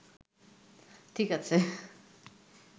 ঠিক আছে